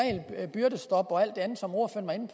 byrdestop og alt det andet som ordføreren